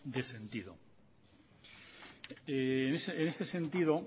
de sentido en este sentido